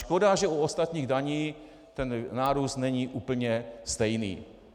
Škoda, že u ostatních daní ten nárůst není úplně stejný.